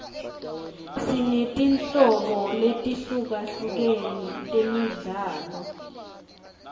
sinetinholobo letihlukahlukere temidlalo